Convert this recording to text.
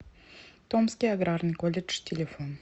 томский аграрный колледж телефон